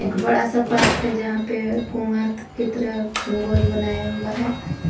एक बड़ा सा पार्क है जहां पे कुआं की तरह गोल बनाया हुआ है।